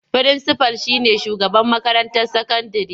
Firinsifal shi ne shugaban makarantar sakandire.